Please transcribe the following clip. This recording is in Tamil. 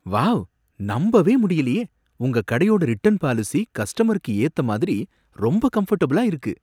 வாவ்! நம்பவே முடியலையே! உங்க கடையோட ரிட்டன் பாலிசி கஸ்டமருக்கு ஏத்த மாதிரி ரொம்ப கம்ஃபர்ட்டபிளா இருக்கு.